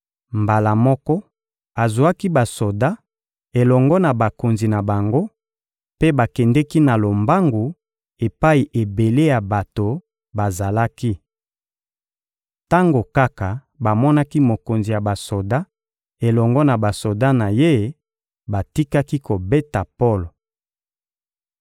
Mbala moko, azwaki basoda elongo na bakonzi na bango, mpe bakendeki na lombangu epai ebele ya bato bazalaki. Tango kaka bamonaki mokonzi ya basoda elongo na basoda na ye, batikaki kobeta Polo.